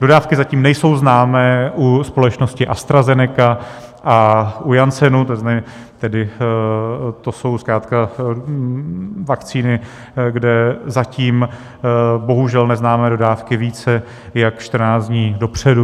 Dodávky zatím nejsou známé u společnosti AstraZeneca a u Janssenu, tedy to jsou zkrátka vakcíny, kde zatím bohužel neznáme dodávky více jak 14 dní dopředu.